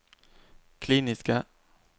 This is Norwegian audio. kliniske